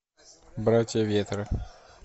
братья ветра